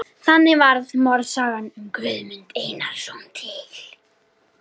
Þannig varð morðsagan um Guðmund Einarsson til.